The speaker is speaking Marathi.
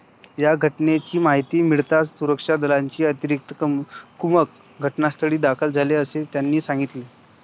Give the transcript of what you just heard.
या घटनेची माहिती मिळताच सुरक्षा दलाची अतिरिक्त कुमक घटनास्थळी दाखल झाली, असेही त्यांनी सांगितले.